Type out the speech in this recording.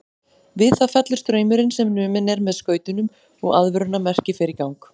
Við það fellur straumurinn sem numinn er með skautunum og aðvörunarmerki fer í gang.